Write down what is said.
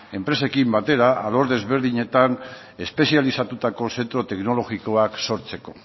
enpresekin batera alor desberdinetan espezializatutako zentro teknologikoak sortzeko